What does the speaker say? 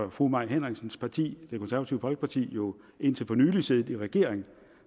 at fru mai henriksens parti det konservative folkeparti jo indtil for nylig har siddet i regering